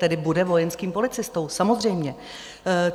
Tedy bude vojenským policistou, samozřejmě.